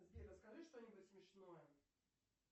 сбер расскажи что нибудь смешное